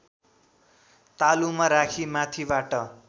तालुमा राखी माथिबाट